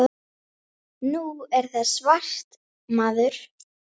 Fylgja eigin sýn.